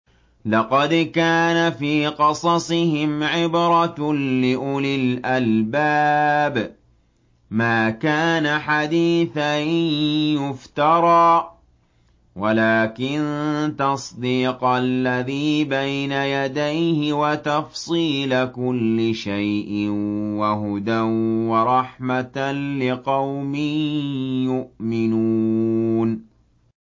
لَقَدْ كَانَ فِي قَصَصِهِمْ عِبْرَةٌ لِّأُولِي الْأَلْبَابِ ۗ مَا كَانَ حَدِيثًا يُفْتَرَىٰ وَلَٰكِن تَصْدِيقَ الَّذِي بَيْنَ يَدَيْهِ وَتَفْصِيلَ كُلِّ شَيْءٍ وَهُدًى وَرَحْمَةً لِّقَوْمٍ يُؤْمِنُونَ